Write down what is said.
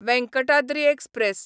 Venkatadri express